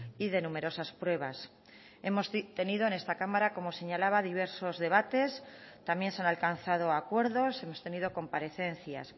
y de numerosas pruebas hemos tenido en esta cámara como señalaba diversos debates también se han alcanzado acuerdos hemos tenido comparecencias